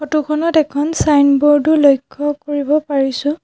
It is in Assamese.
ফটো খনত এখন ছাইনবোৰ্ড ও লক্ষ্য কৰিব পাৰিছোঁ।